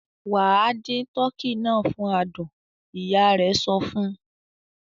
"Wà á dín tọkî náà fún àádùn!" Ìyá rẹ̀ sọ fún.